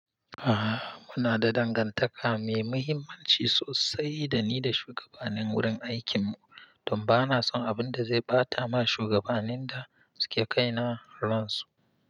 A'a muna da dangantaka mai muhimmanci sosai dani da shugabanin wurin aikin mu, don bana son abinda zai bata ma shugabanin da suke kai na ransu.